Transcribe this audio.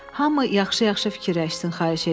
Hamı yaxşı-yaxşı fikirləşsin, xahiş edirəm.